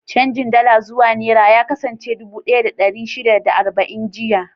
Canjin Dala zuwa Nera ya kasance dubu ɗaya da ɗari shida da arba'in jiya.